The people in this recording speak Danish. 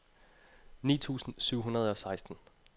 ni tusind syv hundrede og seksten